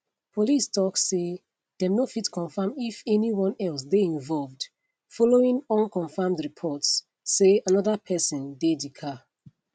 police tok say dem no fit confam if anyone else dey involved following unconfirmed reports say anoda pesin dey di car